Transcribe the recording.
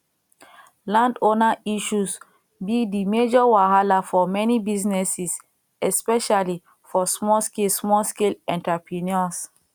landowner issues be di major wahala for many businesses especially for smallscale smallscale enterpreneurs